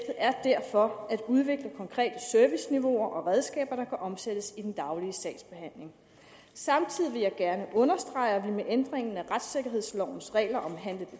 er derfor at udvikle konkrete serviceniveauer og redskaber der kan omsættes i den daglige sagsbehandling samtidig vil jeg gerne understrege at vi med ændringen af retssikkerhedslovens regler om handle